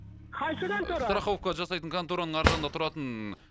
қайсы контора страховка жасайтын контораның ар жағында тұратын